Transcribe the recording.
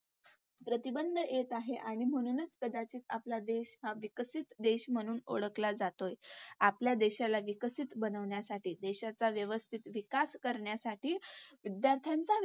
प्रतिबंध येत आहे. आणि म्हणूनच कदाचित आपला देश हा विकसित देश म्हणून ओळखला जातोय. आपल्या देशाला विकसित बनवण्यासाठी, देशाचा व्यवस्तितं विकास करण्यासाठी विद्यार्थ्यांचा